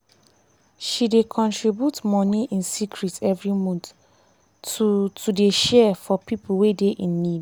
she dey contribute money in secret every month to to dey share for pipo wey dey in need.